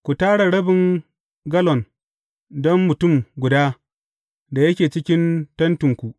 Ku tara rabin gallon don mutum guda da yake cikin tentinku.’